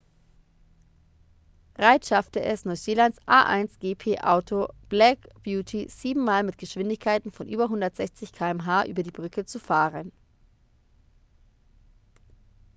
reid schaffte es neuseelands a1gp-auto black beauty sieben mal mit geschwindigkeiten von über 160 km/h über die brücke zu fahren